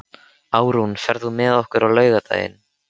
Árún, ferð þú með okkur á laugardaginn?